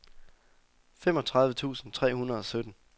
femogtredive tusind tre hundrede og sytten